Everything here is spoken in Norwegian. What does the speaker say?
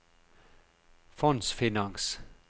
fondsfinans